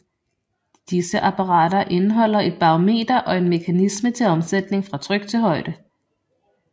Disse apparater indeholder et barometer og en mekanisme til omsætning fra tryk til højde